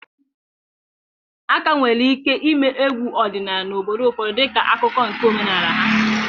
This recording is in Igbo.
A ka nwere ike ịme egwu odinala n'obodo ụfọdụ dịka akụkụ nke omenala ha.